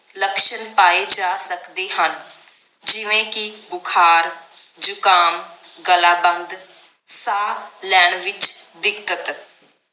Luxon ਪਾਏ ਜਾ ਸਕਦੇ ਹਨ ਜਿਵੇ ਕਿ ਬੁਖਾਰ ਜੁਖਾਮ ਗਲਾ ਬੰਦ ਸਾਹ ਲੈਣ ਵਿਚ ਦਿੱਕਤ